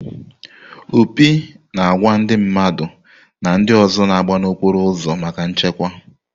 Opi na àgwà ndị mmadụ na ndị ọzọ na-agba n'okporo ụzọ maka nchekwa.